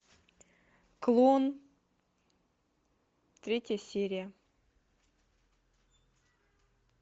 клон третья серия